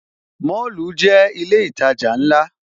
Mọ́lù jẹ́ ilé ìtajà ńlá